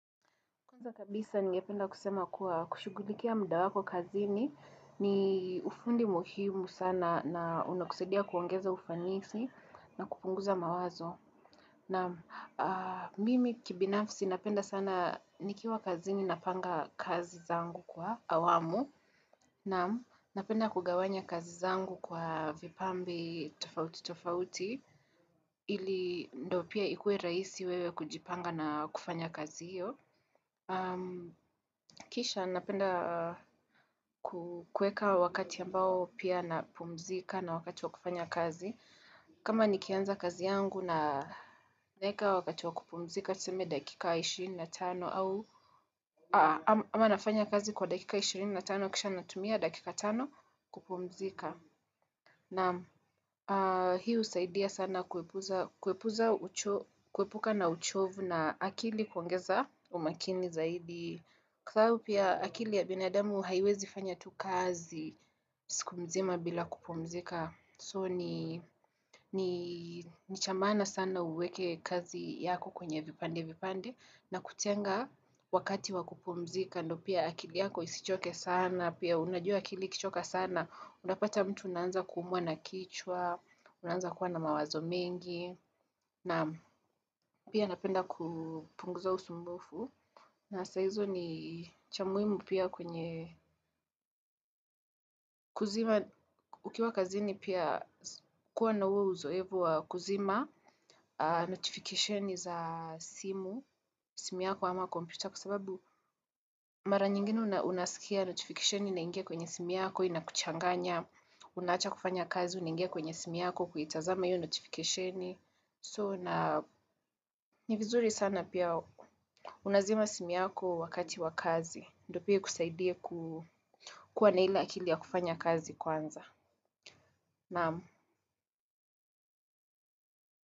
Kwanza kabisa ninge penda kusema kuwa kushugulikia muda wako kazini ni ufundi muhimu sana na unakusaidia kuongeza ufanisi na kupunguza mawazo. Naam mimi kibinafsi napenda sana nikiwa kazini na panga kazi zangu kwa awamu. Naam mimi kibinafsi napenda kugawanya kazi zangu kwa vipambe tofauti tofauti ili ndo pia ikue rahisi wewe kujipanga na kufanya kazio. Kisha napenda kukuweka wakati ambao pia napumzika na wakati wa kufanya kazi kama nikianza kazi yangu na naweka wakati wa kupumzika tuseme dakika 25 ama nafanya kazi kwa dakika 25 kisha natumia dakika 5 kupumzika Naam hii husaidia sana kuepuza kuepuka na uchovu na akili kuongeza umakini zaidi Kwasababu akili ya binadamu haiwezi fanya tu kazi, siku mzima bila kupumzika. So ni chamaana sana uweke kazi yako kwenye vipande vipande, na kutenga wakati wakupumzika, ndio pia akili yako isichoke sana, pia unajua akili ikichoka sana, unapata mtu unaanza kumwa na kichwa, unaanza kuwa na mawazo mengi, na pia napenda kupunguza usumbufu na sahizo ni cha muhimu pia kwenye kuzima Ukiwa kazini pia kuwa na uzoevu kuzima notification za simu simu yako ama kompyuta kwa sababu mara nyingine unasikia notification ina ingia kwenye simu yako Inakuchanganya unaacha kufanya kazi unangia kwenye simu yako kuitazama hio notification so na ni vizuri sana pia unazima simu yako wakati wa kazi ndio pia ikusaidie kuwa na ile akili ya kufanya kazi kwanza naam.